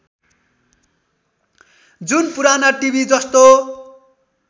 जुन पुराना टिभि जस्तो